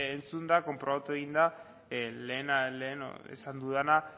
entzunda konprobatu egin da lehen esan dudana